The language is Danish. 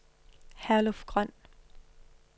Herluf Grøn